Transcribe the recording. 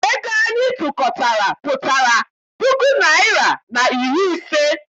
Ego anyị tụkọtara pụtara puku naịra na iri ise.